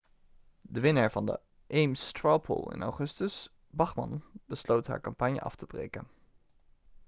de winnaar van de ames straw poll in augustus bachmann besloot haar campagne af te breken